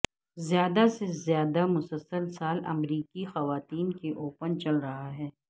زیادہ سے زیادہ مسلسل سال امریکی خواتین کے اوپن چل رہا ہے